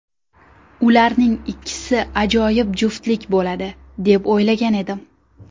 Ularning ikkisi ajoyib juftlik bo‘ladi, deb o‘ylagan edim.